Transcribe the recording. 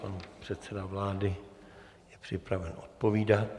Pan předseda vlády je připraven odpovídat.